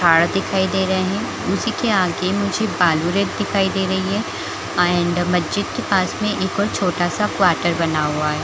पहाड़ दिखाई दे रहे है उसी के आगे मुझे बालू-रेत दिखाई दे रही है मस्जिद के पास में एक और छोटा-सा क्वाटर बना हुआ है।